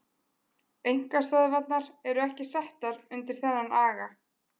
Einkastöðvarnar eru ekki settar undir þennan aga.